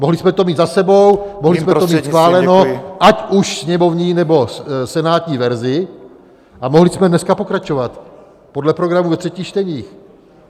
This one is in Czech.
Mohli jsme to mít za sebou, mohli jsme to mít schváleno, ať už sněmovní, nebo senátní verzi, a mohli jsme dneska pokračovat podle programu ve třetích čteních.